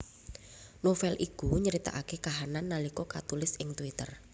Novel iku nyritakaké kahanan nalika katulis ing twitter